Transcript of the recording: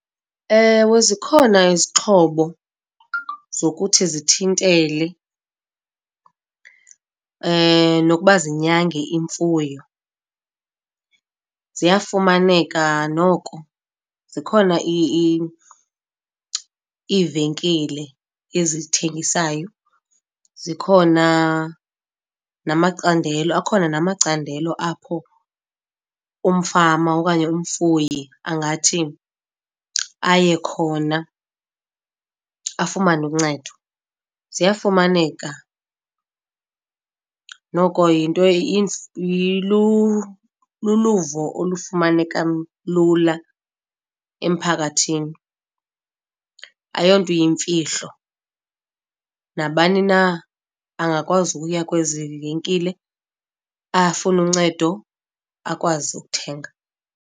Ewe, zikhona izixhobo zokuthi zithintele nokuba zinyange imfuyo. Ziyafumaneka noko, zikhona iivenkile ezithengisayo. Zikhona namacandelo, akhona namacandelo apho umfama okanye umfuyi angathi aye khona afumane uncedo, ziyafumaneka. Noko yinto luluvo olufumanekea lula emphakathini, ayonto iyimfihlo. Nabani na angakwazi ukuya kwezi venkile afumana uncedo, akwazi ukuthenga.